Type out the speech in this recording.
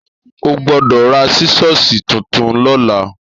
Ò gbọdọ rà sísọsí titún lọlà.